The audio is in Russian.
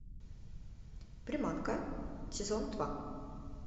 приманка сезон два